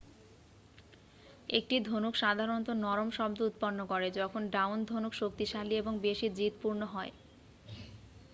একটি ধনুক সাধারণত নরম শব্দ উৎপন্ন করে যখন ডাউন-ধনুক শক্তিশালী এবং বেশি জিদপূর্ণ হয়